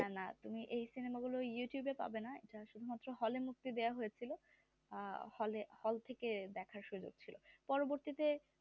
না না তুমি এই সিনেমা গুলো youtube পাবে না এটা শুধু মাত্র hall মুক্তি দেওয়া হয়েছিল আহ hall এ hall থেকে দেখার সুযোগ ছিল পরবর্তীতে